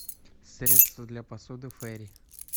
средство для посуды фери